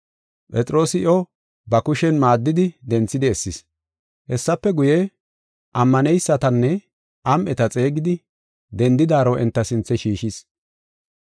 Phexroosi iyo ba kushen maaddidi denthidi essis. Hessafe guye, ammaneysatanne am7eta xeegidi, dendidaro enta sinthe shiishis.